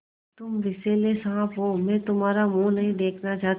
तुम विषैले साँप हो मैं तुम्हारा मुँह नहीं देखना चाहती